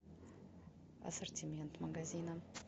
ассортимент магазина